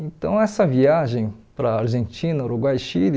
Então, essa viagem para a Argentina, Uruguai e Chile,